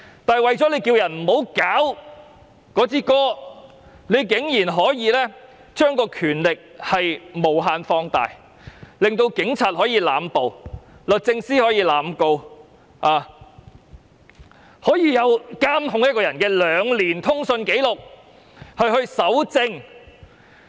可是，政府為免有人搞國歌，居然把權力無限放大，令警察可以濫捕，律政司可以濫告，甚至可以監控一個人兩年的通訊紀錄以作搜證。